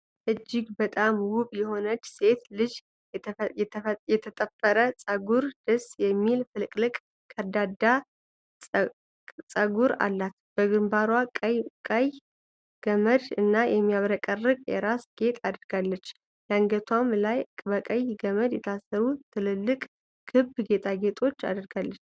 እጅግ በጣም ውብ የሆነች ሴት ልጅ የተጠፈረ ጸጉርና ደስ የሚል ፍልቅልቅ ከርዳዳ ጸጉር አላት። በግንባሯ ቀይ ገመድ እና የሚያብረቀርቅ የራስ ጌጥ አድርጋለች፤ በአንገቷም ላይ በቀይ ገመድ የታሰሩ ትልልቅ ክብ ጌጣጌጦች አድርጋለች።